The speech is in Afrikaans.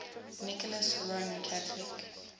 nicholas roman catholic